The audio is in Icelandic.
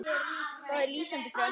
Það er lýsandi fyrir ömmu.